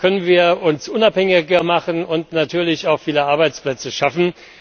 Dadurch können wir uns unabhängiger machen und natürlich auch viele Arbeitsplätze schaffen.